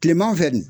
Kileman fɛ nin